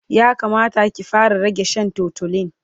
ya Kamata ki fara rage Shan tutolin